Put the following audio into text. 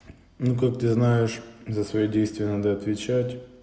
ну как ты знаешь за свои действия надо отвечать